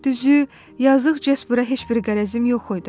Düzü, yazıq Cəsbura heç bir qərəzim yox idi.